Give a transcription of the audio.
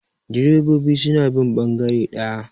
direbobi suna bin bangare daya